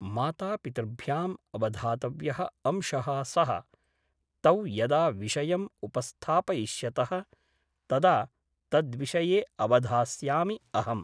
मातापितृभ्याम् अवधातव्यः अंशः सः । तौ यदा विषयम् उपस्थापयिष्यतः तदा तद्विषये अवधास्यामि अहम् ।